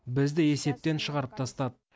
бізді есептен шығарып тастады